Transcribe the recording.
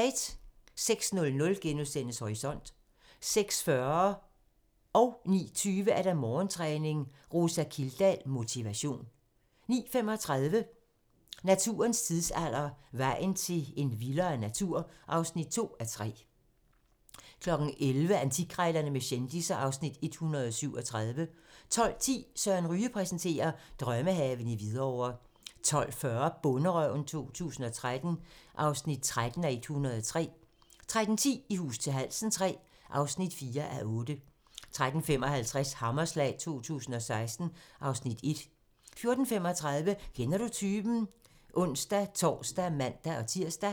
06:00: Horisont * 06:40: Morgentræning: Rosa Kildahl - motivation 09:20: Morgentræning: Rosa Kildahl - motivation 09:35: Naturens tidsalder - vejen til en vildere natur (2:3) 11:00: Antikkrejlerne med kendisser (Afs. 137) 12:10: Søren Ryge præsenterer: Drømmehave i Hvidovre 12:40: Bonderøven 2013 (13:103) 13:10: I hus til halsen III (4:8) 13:55: Hammerslag 2016 (Afs. 1) 14:35: Kender du typen? (ons-tor og man-tir)